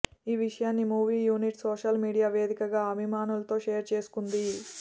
ఈ విషయాన్ని movie unit social media వేదికగా అభిమానులతో షేర్ చేసుకుంది